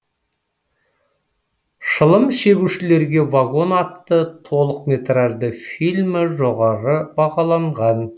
шылым шегушілерге вагон атты толықметражды фильмі жоғары бағаланған